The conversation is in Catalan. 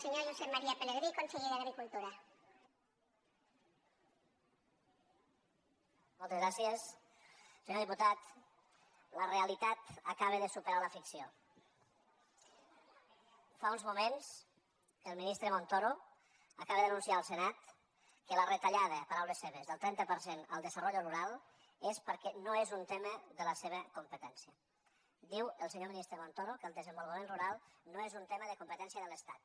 senyor diputat la realitat acaba de superar la ficció fa uns moments el ministre montoro acaba d’anunciar al senat que la retallada paraules seves del trenta per cent al desarrollo rural és perquè no és un tema de la seva competència diu el senyor ministre montoro que el desenvolupament rural no és un tema de competència de l’estat